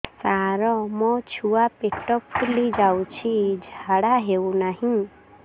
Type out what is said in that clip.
ସାର ମୋ ଛୁଆ ପେଟ ଫୁଲି ଯାଉଛି ଝାଡ଼ା ହେଉନାହିଁ